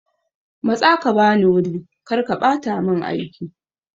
Matsa ka bani wuri!karka bata mun aiki.